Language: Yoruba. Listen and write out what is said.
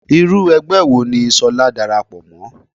Irú ẹgbẹ́ wo ni ṣolá dàràpọ̀ mọ́?